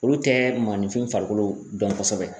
Olu tɛ maninfin farikolo dɔn kosɛbɛ